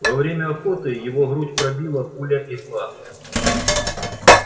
во время охоты его грудь пробила пуля игла